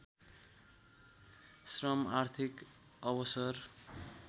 श्रम आर्थिक अवसर